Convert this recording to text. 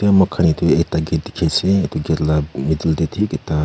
itu muikhan ite ekta gate dikhi ase itu gate la middle deh thik ekta.